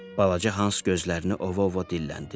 Balaca Hans gözlərini ova-ova dilləndi.